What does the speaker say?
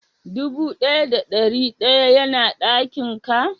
Dubu daya da dari dayan yana dakin ka?